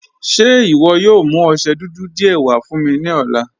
Ṣe iwọ yóò mú ọṣẹ́ dúdú díẹ̀ wà fún mi ni ọ̀lá?